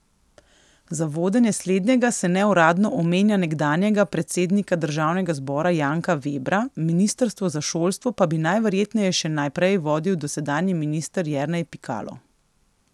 Za vodenje slednjega se neuradno omenja nekdanjega predsednika državnega zbora Janka Vebra, ministrstvo za šolstvo pa bi najverjetneje še naprej vodil dosedanji minister Jernej Pikalo.